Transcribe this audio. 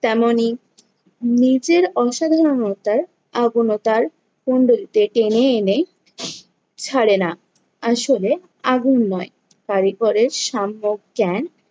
তেমনি নিজের অসাধারণতায় আগুনও তার কুণ্ডুলিতে টেনে এনে ছাড়ে না। আসলে আগুন নয়, কারিগরের সাম্যক জ্ঞান,